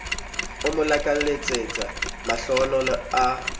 o mo lakaletsa mahlohonolo a